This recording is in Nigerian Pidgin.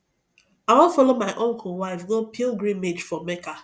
i wan follow my uncle wife go pilgrimage for mecca